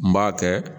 N b'a kɛ